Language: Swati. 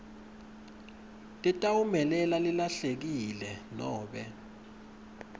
letawumelela lelahlekile nobe